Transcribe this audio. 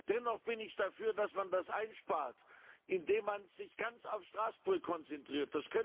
Dennoch bin ich dafür, dass man das einspart, indem man sich ganz auf Straßburg konzentriert.